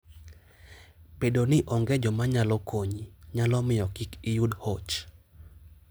Bedo ni onge joma nyalo konyi, nyalo miyo kik iyud hoch.